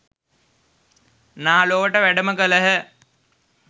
නා ලොවට වැඩම කළහ.